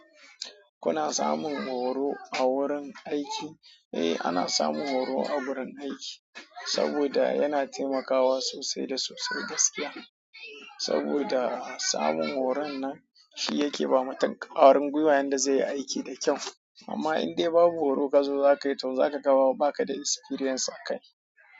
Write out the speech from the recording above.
Kuna samun horo a wurin aiki? Eh, ana samun horo a wurin aiki saboda yana taimakawa sosai da sosai gaskiya. Saboda samun horon nan shi yake ba mutum ƙwarin gwiwayen da zai yi aiki da kyau. Amma indai ba bu horo kazo za ka yi tau, za ka ga ma ba ka da experience a kai.